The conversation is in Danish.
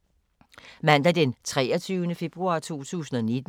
Mandag d. 11. februar 2019